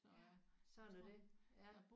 Sådan er det